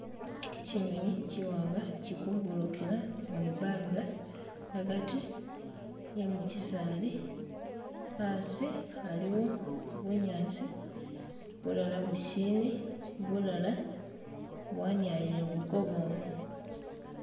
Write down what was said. Kyinyonyi kyiwanga kyili kubururukila mwibanga agati emu kyisaali, asi aliwo bunyaasi bulala busili, bulala bwanialile buli kobwoma